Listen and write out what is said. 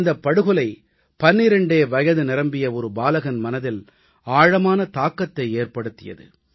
இந்தப் படுகொலை பன்னிரெண்டே வயது நிரம்பிய ஒரு பாலகன் மனதில் ஆழமான தாக்கத்தை ஏற்படுத்தியது